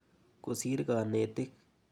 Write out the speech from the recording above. Kosir kanetik.